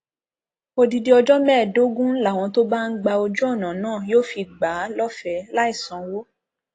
odidi ọjọ mẹẹẹdógún làwọn tó bá ń gba ojú ọnà náà yóò fi gbà á lọfẹẹ láì sanwó